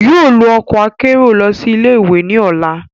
yóò lo ọkọ akero lọ si ile-iwe ni ọla